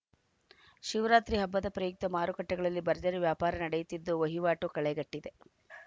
ಶಿವರಾತ್ರಿ ಹಬ್ಬದ ಪ್ರಯುಕ್ತ ಮಾರುಕಟ್ಟೆಗಳಲ್ಲಿ ಭರ್ಜರಿ ವ್ಯಾಪಾರ ನಡೆಯುತ್ತಿದ್ದು ವಹಿವಾಟು ಕಳೆಕಟ್ಟಿದೆ